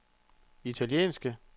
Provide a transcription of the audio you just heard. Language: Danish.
italienske